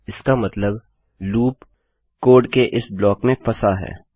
इसका मतलब loop code के इस ब्लाक में फँसा है